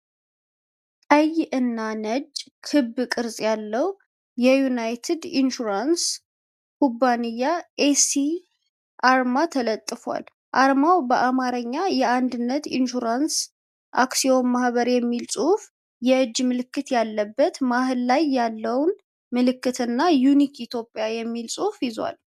ቀይ እና ነጭ ክብ ቅርጽ ያለው የዩናይትድ ኢንሹራንስ ኩባንያ ኤስ ሲ አርማ ተለጥፏል። አርማው በአማርኛ "የአንድነት ኢንሹራንስ አክሲዮን ማህበር" የሚል ጽሑፍን፣ የእጅ ምልክት ያለበት መሃል ላይ ያለውን ምልክት እና "ዩኒክ እትዮጵያ" የሚል ጽሑፍን ይዟል።